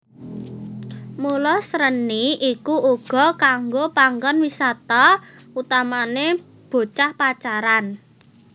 Mula Sreni iku uga kanggo panggon wisata utamane bocah pacaran